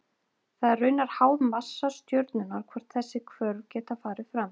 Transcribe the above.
Það er raunar háð massa stjörnunnar hvort þessi hvörf geta farið fram.